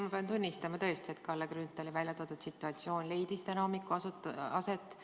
Ma pean tunnistama, et tõesti, Kalle Grünthali välja toodud situatsioon leidis täna hommikul aset.